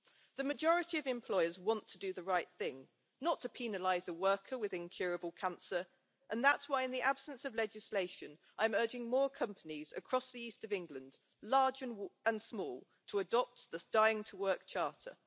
The majority of employers want to do the right thing, not to penalise a worker with incurable cancer, and that is why in the absence of legislation I am urging more companies across the East of England, large and small, to adopt the Dying to Work Charter.